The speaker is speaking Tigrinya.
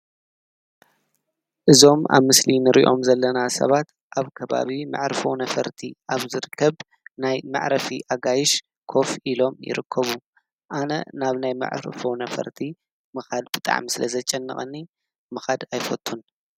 እዞም ኣብ ምስሊ እንሪኦም ዘለና ሰባት ኣብ ከባቢ መዕርፎ ነፈርቲ ኣብ ዝርከብ ናይ መዕረፊ ኣጋይሽ ኮፍ ኢሎም ይርከቡ። ኣነ ናብ ናይ መዕርፎ ነፈርቲ ምኻድ ብጣዕሚ ስለዘጨንቀኒ ምኻድ ኣይፈትን።